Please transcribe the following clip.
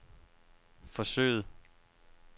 forsøget